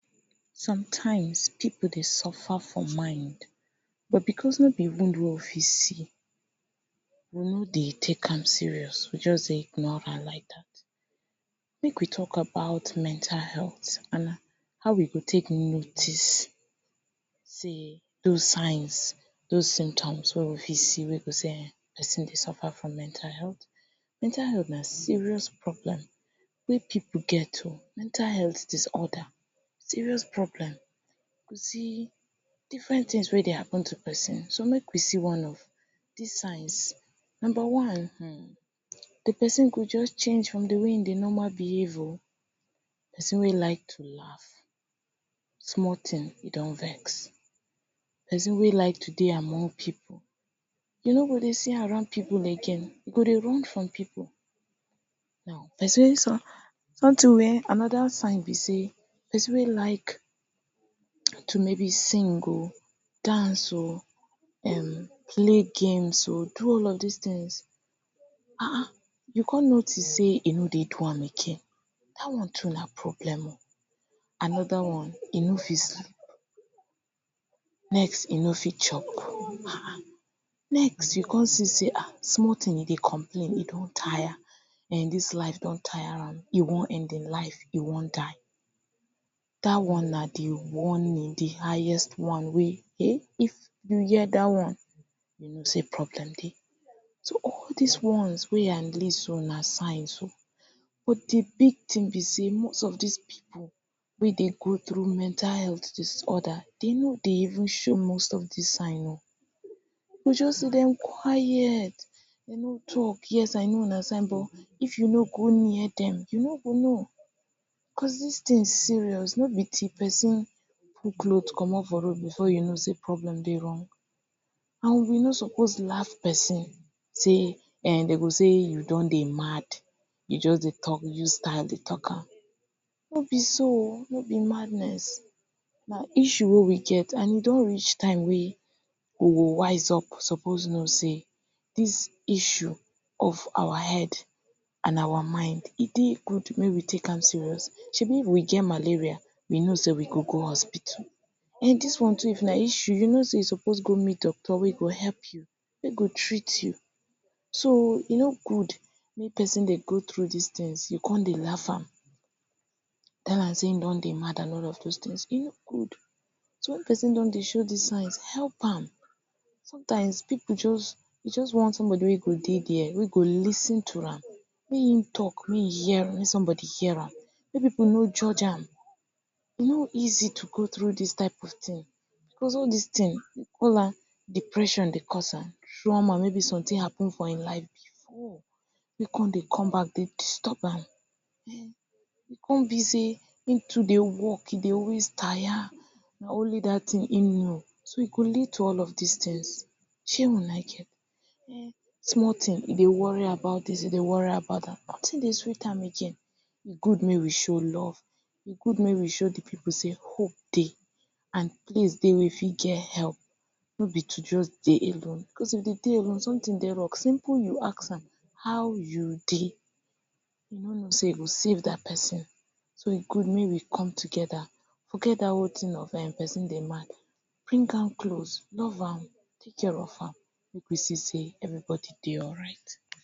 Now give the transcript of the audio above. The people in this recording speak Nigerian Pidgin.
Sometimes pipu dey suffer for mind but because no because no be de one wey we fit see we no dey take am serious. we just dey ignore her like dat. make we talk about mental health and how we go take notice sey those signs, those symptoms wey we fit see wey we go sey um person dey suffer from mental health. Mental health na serious problem wey pipu get oo mental health disorder serious problem you see different tings wey dey happen to person so make we see one of dis signs; number one um; de person go just change from de way he dey normal behave oh person wey like laugh small ting e don vex person wey like to dey among pipu you no go dey see am around pipu again. e go dey run from pipu now person anoda sign be sey person wey like to maybe sing um okay dance um, okay um play games um, do all of dis tings um you come notice sey e no dey do am again dat one too na problem anoda one, e no fit sleep next e no fit chop um once you come see sey small ting e dey complain e don tire eh. dis life don tire am e wan end him life, e wan die. dat one na de warning, de highest one wey um if you hear dat one, you know sey problem dey. so all these ones wey I list so, na signs but de big ting be sey most of dis pipu wey dey go through mental health disorder, dem no dey even show most of dis sign oh you go just see dem quiet dem no talk, yes I know na if you no go near dem you no go know cos dis tings serious. no be till person remove clothes comot for road, you go know sey problem dey wrong and you no suppose laugh person sey um. dem go say you don dey mad you just dey, dey use style dey talk am; no be so oh no be madness na issue wey we get and e don reach time wey we go rise up suppose know sey, dis issue of our head and our mind e dey good make we take am serious. shebi if we get malaria, we go know sey we go go hospital and dis one too if na issue. you know sey you suppose go meet doctor wey go help you wey go treat you so e no good make person dey do dis tings you come dey laugh am tell am sey him don dey mad and all of dis tings e no good so. Wen person don dey show dis signs, help am sometimes pipu just wan somebody wey go dey there, wey go lis ten to am wen e talk make somebody hear am, make pipu no judge am. E no easy to go through dis type of ting be. All dis ting we call am depression dey cause am trauma maybe someting happen for him life before wey come dey come back dey disturb am. um e come be sey him too dey work, e dey always tire na only dat ting him know so e go lead to all of dis tings. shey una get um small ting he dey worry about dis e dey worry about dat de ting noting dey sweet am again e good make we show love e good make we show de pipu sey hope dey and place dey wey e fit get help no be to just dey alone because if de person dey alone someting dey wrong someting dey ask am how you dey? e no know sey e go save dat person so e good make we come togeda forget dat wetin if person dey mad, bring am close love am, take care of am make we see sey everybody dey alright.